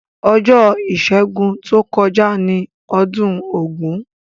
Ojó ìsẹ́gun to kojá ni odún ògún